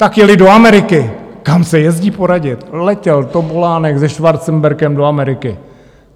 Tak jeli do Ameriky, kam se jezdí poradit, letěl Topolánek se Schwarzenbergem do Ameriky.